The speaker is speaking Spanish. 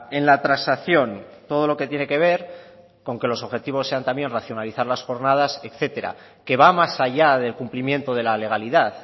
en la transacción todo lo que tiene que ver con que los objetivos sean también racionalizar las jornadas etcétera que va más allá del cumplimiento de la legalidad